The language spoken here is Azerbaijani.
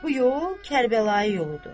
Bu yol Kərbəlayı yoludur.